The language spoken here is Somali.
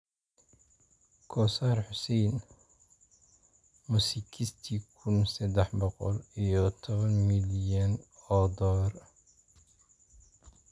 Kosar xussein - muusikiiste kun sedax boqol iyo taban milyan o dolar